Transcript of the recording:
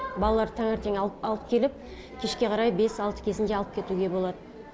балаларды таңертең алып келіп кешке қарай бес алты кезінде алып кетуге болады